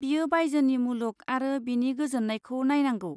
बियो बायजोनि मुलुग आरो बिनि गोजोननायखौ नायनांगौ।